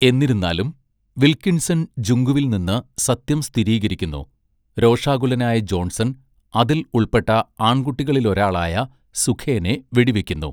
എന്നിരുന്നാലും, വിൽക്കിൻസൺ ജുങ്കുവിൽ നിന്ന് സത്യം സ്ഥിരീകരിക്കുന്നു, രോഷാകുലനായ ജോൺസൺ അതിൽ ഉൾപ്പെട്ട ആൺകുട്ടികളിലൊരാളായ സുഖേനെ വെടിവയ്ക്കുന്നു.